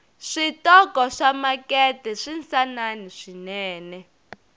switoko swamakete swinsanani swinene